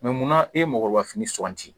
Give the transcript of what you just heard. munna e ye mɔgɔba fini suganti